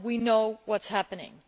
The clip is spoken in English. Now we know what is happening.